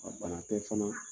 A bana tɛ caman